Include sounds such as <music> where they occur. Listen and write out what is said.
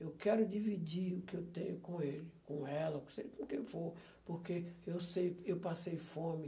Eu quero dividir o que eu tenho com ele, com ela, <unintelligible> com quem for, porque eu sei, eu passei fome.